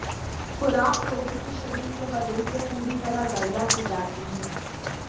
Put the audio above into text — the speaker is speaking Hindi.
खुराक रोगी के शरीर के वजन से पूरी तरह गणना की जाती है